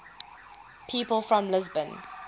people from lisbon